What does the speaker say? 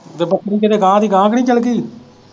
ਤੇ ਬੱਕਰੀ ਕਿਤੇ ਗਾਹ ਦੀ ਗਾਹ ਤਾਨੀ ਚੱਲਗੀ ।